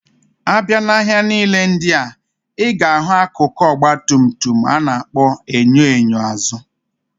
Abia na ahia nile ndia, iga ahu akụkụ Ọgba tum tum ana akpo enyo enyo azu.